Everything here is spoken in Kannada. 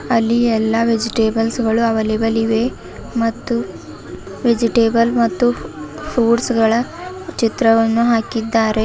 ಅಲ್ಲಿ ಎಲ್ಲಾ ವೆಜಿಟೇಬಲ್ಸ್ ಗಳು ಅವೈಲೆಬಲ್ ಇವೆ ಮತ್ತು ವೆಜಿಟೇಬಲ್ ಮತ್ತು ಫ್ರೂಟ್ಗಳ ಚಿತ್ರವನ್ನು ಹಾಕಿದ್ದಾರೆ.